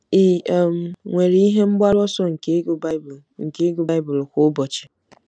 Ị um nwere ihe mgbaru ọsọ nke ịgụ Bible nke ịgụ Bible kwa ụbọchị?